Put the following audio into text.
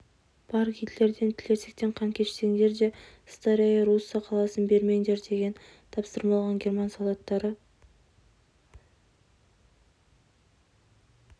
бар гитлерден тілерсектен қан кешсеңдер де старая русса қаласын бермеңдер деген тапсырма алған герман солдаттары